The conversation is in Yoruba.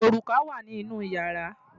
Òrùka wà ní inú ìyàrá.